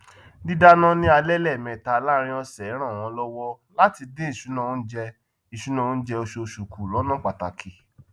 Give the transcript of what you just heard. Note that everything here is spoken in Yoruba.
dídáná ni alé méta láàrin ọsẹ ranmo lówó láti dín ìṣúná oúnjẹ ìṣúná oúnjẹ osoòsù ku lọna pataki